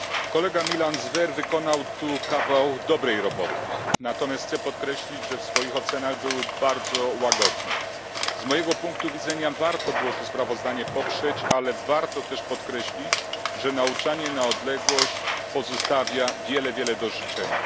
Kolega Milan Zver wykonał tu kawał dobrej roboty. Natomiast chcę podkreślić, że w swoich ocenach był bardzo łagodny. Z mojego punktu widzenia warto było to sprawozdanie poprzeć, ale warto też podkreślić, że nauczanie na odległość pozostawia bardzo wiele do życzenia.